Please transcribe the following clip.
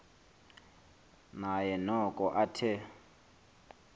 naye noko athe